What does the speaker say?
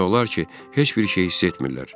Demək olar ki, heç bir şeyi hiss etmirlər.